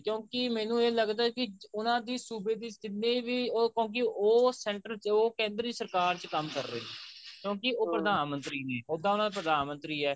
ਕਿਉਂਕਿ ਮੈਨੂੰ ਇਹ ਲੱਗਦਾ ਕਿ ਉਹਨਾ ਦੀ ਸੂਬੇ ਦੀ ਜਿੰਨੇ ਵੀ ਉਹ ਕਿਉਂਕਿ ਉਹ center ਜੋ ਕੇਂਦਰੀ ਸਰਕਾਰ ਚ ਕੰਮ ਕਰ ਰਹੇ ਨੇ ਕਿਉਂਕਿ ਉਹ ਪ੍ਰਧਾਨ ਮੰਤਰੀ ਨੇ ਉੱਦਾਂ ਤਾਂ ਪ੍ਰਧਾਨ ਮੰਤਰੀ ਹੈ